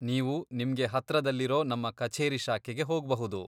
ನೀವು ನಿಮ್ಗೆ ಹತ್ರದಲ್ಲಿರೋ ನಮ್ಮ ಕಛೇರಿ ಶಾಖೆಗೆ ಹೋಗ್ಬಹುದು.